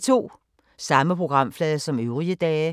Samme programflade som øvrige dage